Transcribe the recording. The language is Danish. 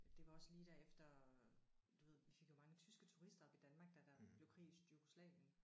Det var også lige der efter du ved vi fik jo mange tyske turister op i Danmark da der blev krig i Jugoslavien